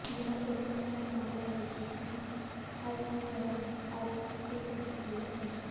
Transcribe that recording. यह एकमात्र मामला है जिसमें हाई प्रोफाइन आरोपी को सजा हुई है